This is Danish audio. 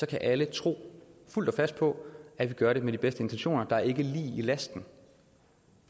kan alle tro fuldt og fast på at vi gør det med de bedste intentioner der er ikke lig i lasten